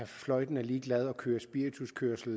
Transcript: fløjtende ligeglade og kørte spirituskørsel